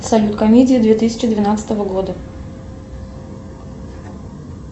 салют комедии две тысячи двенадцатого года